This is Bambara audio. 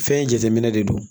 Fɛn in jateminɛ de don